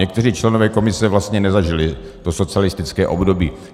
Někteří členové komise vlastně nezažili to socialistické období.